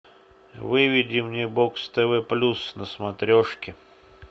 выведи мне бокс тв плюс на смотрешке